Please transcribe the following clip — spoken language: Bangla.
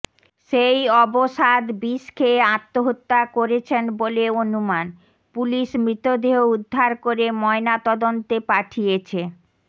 সেই অবসাদ বিষ খেয়ে আত্মহত্যা করেছেন বলে অনুমান পুলিশ মৃতদেহ উদ্ধার করে ময়না তদন্তে পাঠিয়েছে